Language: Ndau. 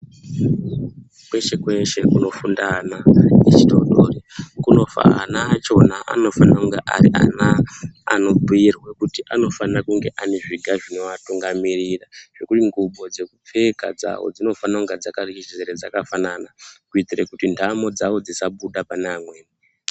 Kweshe -kweshe kunofunda ana echidodori ana achona anofana kunge ari ana anobhuirwe kuti anofana kunge ari ana ane zviga zvinoatunganirira zvekuti ngubo dzekupfeka dzavo dzinofana kunge dzakafanana kuitire kuti ntamo dzawo dzisabuda pane amweni.